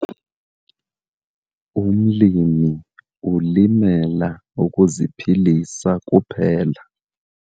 Umlimi ulimela ukuziphilisa kuphela.